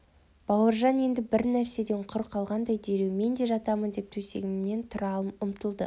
бауыржан енді бір нәрседен құр қалғандай дереу мен де жатамын деп төсегіме тұра ұмтылды